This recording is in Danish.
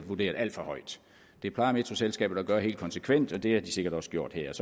vurderet alt for højt det plejer metroselskabet at gøre helt konsekvent og det har de sikkert også gjort her